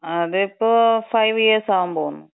അതിപ്പോ five years ആവാമ്പോകുന്നു.